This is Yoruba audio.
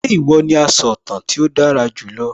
Ṣé ìwọ ní asọ̀tàn tí ó dára jù lọ?